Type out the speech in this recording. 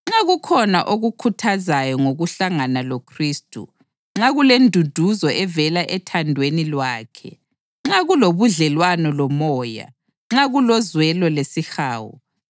Nxa kukhona okukhuthazayo ngokuhlangana loKhristu, nxa kulenduduzo evela ethandweni lwakhe, nxa kulobudlelwano loMoya, nxa kulozwelo lesihawu,